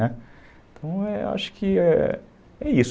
Né, então, eu acho que é isso.